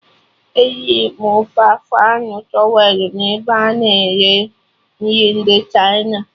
Eriri m ofe afọ anụ towelụ n'ebe a na-ere nri ndị Chịna